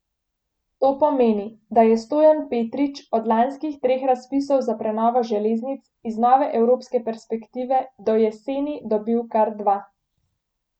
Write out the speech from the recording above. To pomeni, da je Stojan Petrič od lanskih treh razpisov za prenovo železnic iz nove evropske perspektive do jeseni dobil kar dva.